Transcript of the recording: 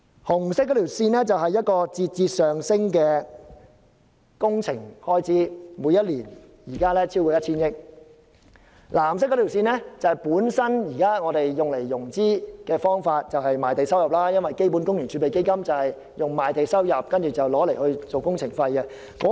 紅色線是節節上升的工程開支，現時每年超過 1,000 億元；藍色線是現時融資的方法，即賣地收入，因為基本工程儲備基金是以賣地收入為工程融資。